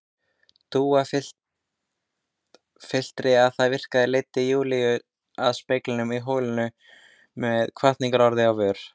Dúa fullyrti að það virkaði, leiddi Júlíu að speglinum í holinu með hvatningarorð á vör.